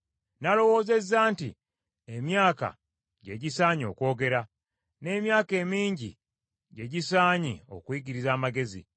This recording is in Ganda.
Nalowoozezza nti, Emyaka gye gisaanye okwogera, n’emyaka emingi gye gisaanye okuyigiriza amagezi.